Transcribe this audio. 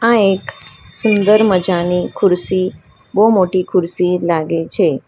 આ એક સુંદર મજાની ખુરશી બોવ મોટી ખુરશી લાગે છે.